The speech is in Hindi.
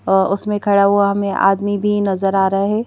अ उसमें खड़ा हुआ हमें आदमी भी नजर आ रहा है।